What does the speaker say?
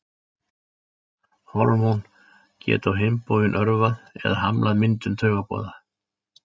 Hormón geta á hinn bóginn örvað eða hamlað myndun taugaboða.